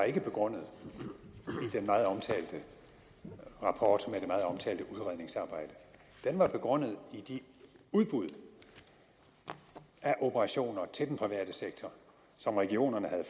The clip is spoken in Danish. begrundet i den meget omtalte rapport med det meget omtalte udredningsarbejde den var begrundet i de udbud af operationer til den private sektor som regionerne havde